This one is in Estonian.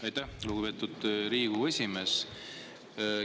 Aitäh, lugupeetud Riigikogu esimees!